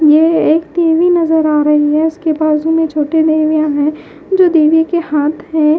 ये एक देवी नजर आ रही है उसके बाजू में छोटे देवियां है जो देवी के हाथ है।